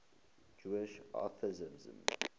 jewish atheists